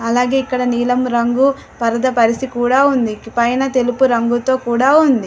అలాగే ఇక్కడ నీలం రంగు పరద పరిచి కూడా ఉంది. పైన తెలుపు రంగుతో కూడా ఉంది.